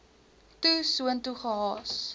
toe soontoe gehaas